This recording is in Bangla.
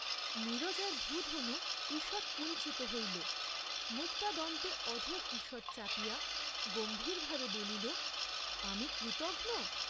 নীরজার ভ্রূধনু ঈষৎ কুঞ্চিত হইল, মুক্তাদন্তে অধর ঈষৎ চাপিয়া গম্ভীর ভাবে বলিল আমি কৃতঘ্ন!